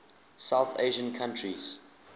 south asian countries